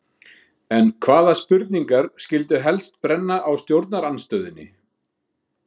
En hvaða spurningar skyldu helst brenna á stjórnarandstöðunni?